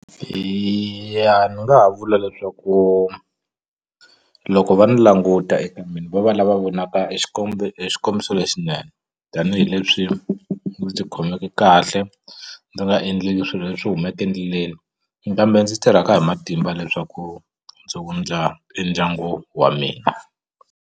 Eya ni nga ha vula leswaku loko va ndzi languta eka mina va va lava vonaka e e xikombiso lexinene tanihileswi ndzi ti khomeke kahle ndzi nga endli swilo leswi humaka endleleni kambe ndzi tirhaka hi matimba leswaku ndzi wundla e ndyangu wa mina.